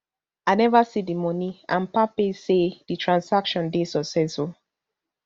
i neva see di money and palmpay say di transcation dey successful